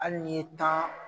Hali ye tan.